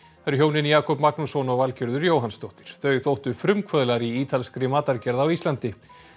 hjónin Jakob Magnússon og Valgerður Jóhannsdóttir þau þóttu frumkvöðlar í ítalskri matargerð á Íslandi